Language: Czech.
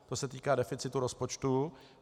To se týká deficitu rozpočtu.